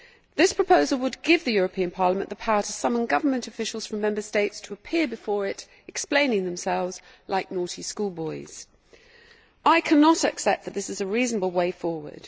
This proposal would give the European Parliament the power to summon government officials from Member States to appear before it, explaining themselves like naughty schoolboys. I cannot accept that this is a reasonable way forward.